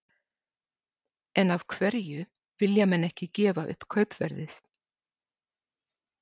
En af hverju vilja menn ekki gefa upp kaupverðið?